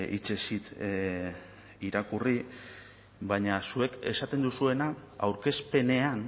hitzez hitz irakurri baina zuek esaten duzuena aurkezpenean